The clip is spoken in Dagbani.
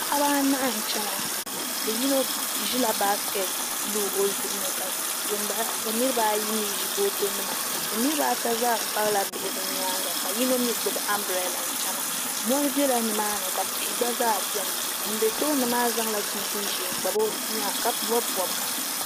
Paɣaba anahi n chɛna yino ʒila baskɛt bili o zuɣu ni ka niraba ayi mii ʒi boto nima bi niraba ata zaa kpabila bihi bi nyaanga ka yino mii gbubi anbirɛla n chɛna mori biɛla nimaani ka tihi gba zaa biɛni ŋun bɛ tooni maa zaŋla chinchin ʒiɛ n kpabi o bia maa ka bob bobga